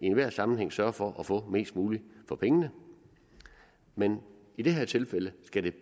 i enhver sammenhæng sørge for at få mest muligt for pengene men i det her tilfælde